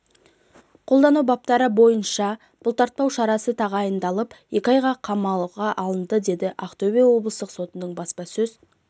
қолдану баптары бойынша бұлтартпау шарасы тағайындалып екі айға қамауға алынды деді ақтөбе облыстық сотының баспасөз